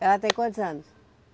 Ela tem quantos anos?